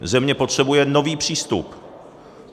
Země potřebuje nový přístup.